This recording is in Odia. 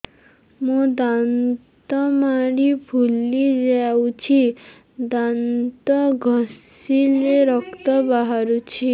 ମୋ ଦାନ୍ତ ମାଢି ଫୁଲି ଯାଉଛି ଦାନ୍ତ ଘଷିଲେ ରକ୍ତ ବାହାରୁଛି